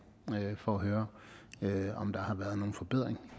for at høre om der har været nogle forbedringer